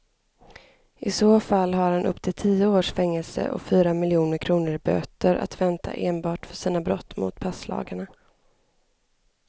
I så fall har han upp till tio års fängelse och fyra miljoner kronor i böter att vänta enbart för sina brott mot passlagarna.